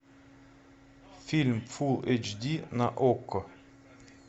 фильм фулл эйч ди на окко